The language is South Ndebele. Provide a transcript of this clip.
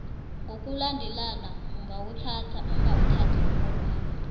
ngokulandelana ungawuthathi umrholwakho